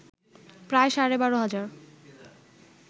প্রায় সাড়ে বারো হাজার